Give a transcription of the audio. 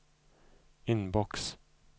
inbox